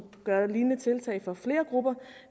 gøre lignende tiltag for flere grupper